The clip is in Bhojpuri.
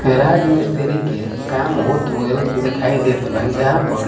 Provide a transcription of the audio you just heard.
गैरज मिसतीरी के काम हॉट होईल देखाई देत बा जहां पर--